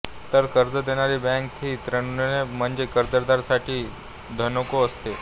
तर कर्ज देणारी बँक हि ऋणको म्हणजेच कर्जदार साठी धनको असते